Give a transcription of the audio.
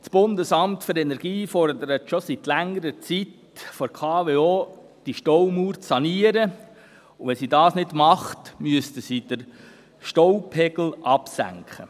Das Bundesamt für Energie (BFE) fordert schon seit langer Zeit von der KWO, dass sie diese Staumauer saniert oder, falls sie es nicht tut, den Staupegel absenkt.